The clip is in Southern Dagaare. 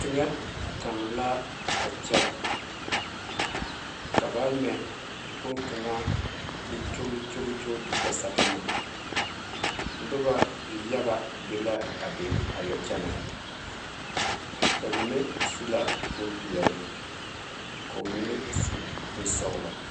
Teŋa kaŋa la a kyɛ ka ba mɛ boŋkaŋa ka o gyolle gyole gyole te kpɛ sagama noba yaga be la a be a yɔ kyɛnɛ ba mine su la bompeɛle ka ba mine su bonsɔgelɔ